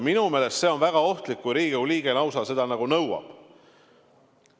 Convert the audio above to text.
Minu meelest on väga ohtlik, kui Riigikogu liige lausa seda nõuab.